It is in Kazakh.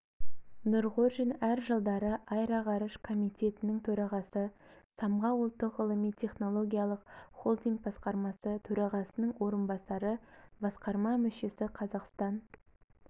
нұрғожин әр жылдары аэроғарыш комитетінің төрағасы самғау ұлттық ғылыми-технологиялық холдинг басқарма төрағасының орынбасары басқарма мүшесі қазақстан